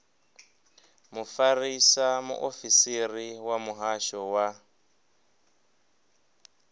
mufarisa muofisiri wa muhasho wa